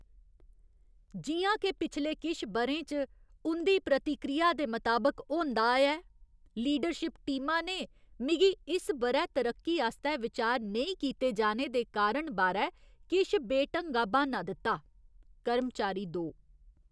जि'यां के पिछले किश ब'रें च उं'दी प्रतिक्रिया दे मताबक होंदा आया ऐ, लीडरशिप टीमा ने मिगी इस ब'रै तरक्की आस्तै विचार नेईं कीते जाने दे कारण बारै किश बेढंगा ब्हान्ना दित्ता। कर्मचारी दो